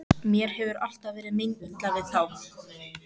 Mér hefur alltaf verið meinilla við þá.